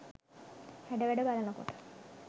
හැඩවැඩ බලන කොට